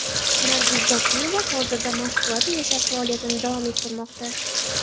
Nargiz Zokirova hozirda Moskvada yashab, faoliyatini davom ettirmoqda.